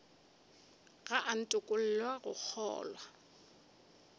ga a ntokolle go kgolwa